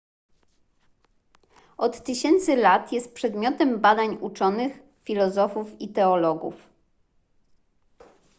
od tysięcy lat czas jest przedmiotem badań uczonych filozofów i teologów